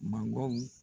Mangoro